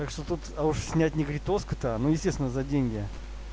так что тут а уж снять негритоску то ну естественно за деньги